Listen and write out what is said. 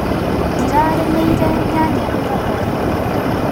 Ndĩrarĩmĩire nyanya ira hwainĩ.